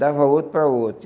Dava outro para outro.